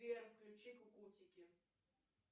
сбер включи кукутики